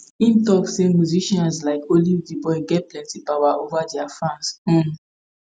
im tok say musicians like olivetheboy get plenti power ova dia fans um